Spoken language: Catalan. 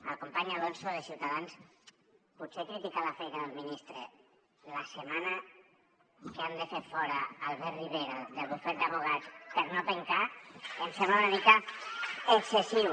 al company alonso de ciutadans potser criticar la feina del ministre la setmana que han de fer fora albert rivera del bufet d’advocats per no pencar em sembla una mica excessiu